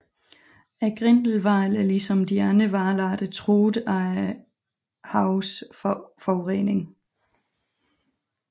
Grindehvalen er ligesom de andre hvalarter truet af havenes forurening